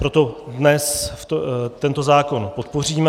Proto dnes tento zákon podpoříme.